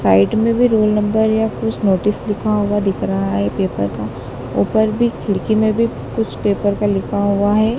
Side में भी roll number या कुछ नोटिस लिखा हुआ दिख रहा है पेपर का ऊपर भी खिड़की में भी कुछ पेपर का लिखा हुआ है।